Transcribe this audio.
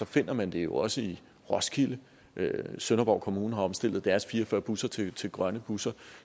finder man dem jo også i roskilde og sønderborg kommune har omstillet deres fire og fyrre busser til til grønne busser